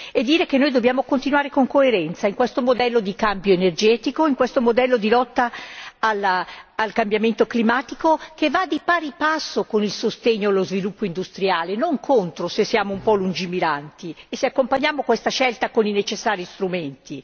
e dire che noi dobbiamo continuare con coerenza in questo modello di cambio energetico, in questo modello di lotta al cambiamento climatico che va di pari passo con il sostegno e lo sviluppo industriale, non contro, se siamo un po' lungimiranti e se accompagniamo questa scelta con i necessari strumenti.